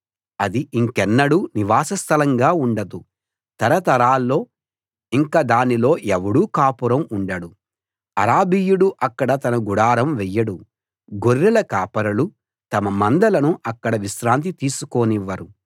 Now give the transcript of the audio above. అది ఇంకెన్నడూ నివాసస్థలంగా ఉండదు తరతరాల్లో ఇంక దానిలో ఎవడూ కాపురం ఉండడు అరబీయుడు అక్కడ తన గుడారం వెయ్యడు గొర్రెల కాపరులు తమ మందలను అక్కడ విశ్రాంతి తీసుకోనివ్వరు